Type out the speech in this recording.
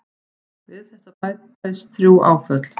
Við þetta bætist þrjú áföll.